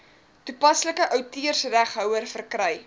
toepaslike outeursreghouer verkry